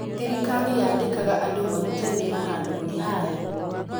Thirikari yaandikaga andũ marute wĩĩra handũ-inĩ ha yo